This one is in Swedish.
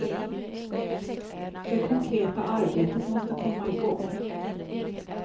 Det konkreta arbetet måste komma igång.